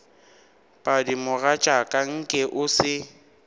padi mogatšaka nke o se